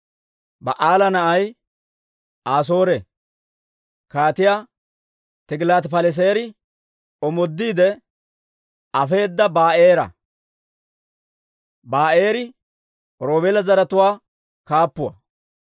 Ba'aala na'ay Asoore Kaatiyaa Tigilaati-Paleseeri omoodiide afeedda Ba'eera; Ba'eeri Roobeela zaratuwaa kaappuwaa.